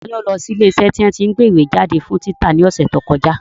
Ta ló lọ sí ilé iṣẹ́ tí wọ́n tí ń gbé ìwé jáde fún títa ní ọ̀sẹ̀ tí ó kọjá?